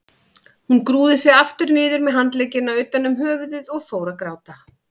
Hún grúfði sig aftur niður með handleggina utan um höfuðið og fór að gráta.